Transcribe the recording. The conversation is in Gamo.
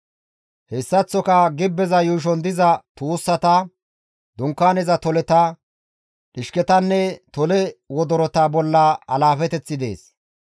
Hessaththoka gibbeza yuushon diza tuussata, Dunkaaneza toleta, dhishketanne tole wodorota bolla alaafeteththi dees.